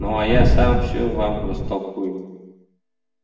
ну а я сам все вам растолкую